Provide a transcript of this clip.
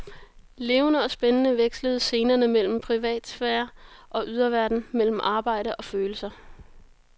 Levende og spændende vekslede scenerne mellem privatsfære og yderverden, mellem arbejde og følelser.